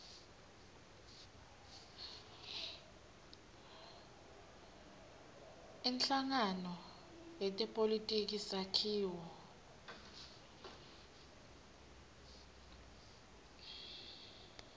inhlangano yetepolitiki sakhiwo